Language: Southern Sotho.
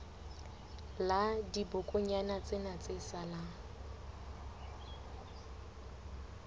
la dibokonyana tsena tse salang